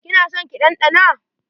Ki na son ki ɗanɗana?